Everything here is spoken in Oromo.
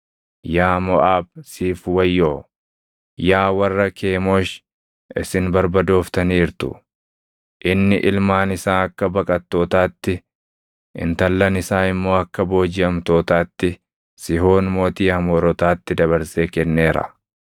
Yaa Moʼaab, siif wayyoo! Yaa warra Kemoosh, isin barbadooftaniirtu! Inni ilmaan isaa akka baqattootaatti, intallan isaa immoo akka boojiʼamtootaatti, Sihoon mootii Amoorotaatti dabarsee kenneera.